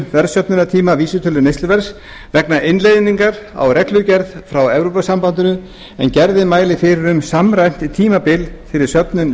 verðsöfnunartíma vísitölu neysluverðs vegna innleiðingar á reglugerð frá evrópusambandinu en gerðin mælir fyrir um samræmt tímabil fyrir söfnun